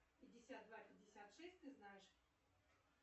пятьдесят два пятьдесят шесть ты знаешь